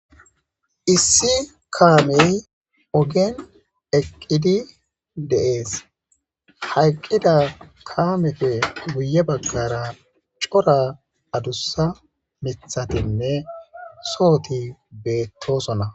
issi kaamey ogen eqqidi de7ees hayqqida kaamefe buye baggara cora adussa mithatinne sooti beettosona